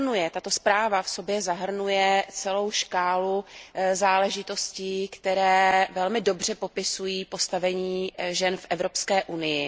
Tato zpráva v sobě zahrnuje celou škálu záležitostí, které velmi dobře popisují postavení žen v Evropské unii.